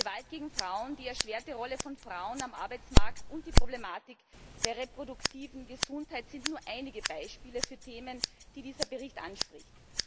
Die Gewalt gegen Frauen, die erschwerte Rolle von Frauen auf dem Arbeitsmarkt und die Problematik der reproduktiven Gesundheit sind nur einige Beispiele für Themen, die dieser Bericht anspricht.